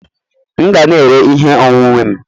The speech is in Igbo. M ga na-ere ihe onwunwe m